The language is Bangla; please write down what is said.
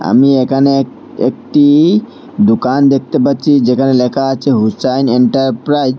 আমি এখানে এক একটি দুকান দেখতে পাচ্ছি যেখানে লেখা আছে হুসাইন এন্টারপ্রাইচ ।